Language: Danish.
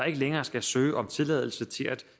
ikke længere skal søge om tilladelse til at